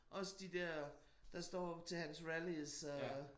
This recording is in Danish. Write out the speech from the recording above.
Også de dér der står til hans rallies og